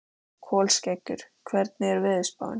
Kolskeggur, hvernig er veðurspáin?